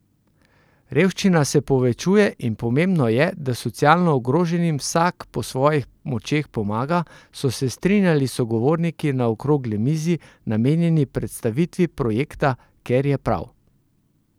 Revščina se povečuje in pomembno je, da socialno ogroženim vsak po svojih močeh pomaga, so se strinjali sogovorniki na okrogli mizi, namenjeni predstavitvi projekta Ker je prav!